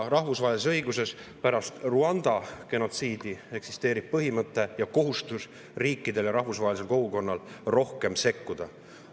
Rahvusvahelises õiguses eksisteerib pärast Rwanda genotsiidi põhimõte ning riikide ja rahvusvahelise kogukonna kohustus rohkem sekkuda.